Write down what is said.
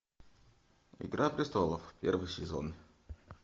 игра престолов первый сезон